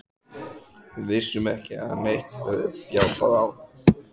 Við vissum ekki að neitt hefði bjátað á.